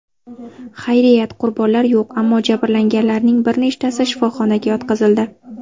Xayriyat, qurbonlar yo‘q, ammo jabrlanganlarning bir nechtasi shifoxonaga yotqizildi.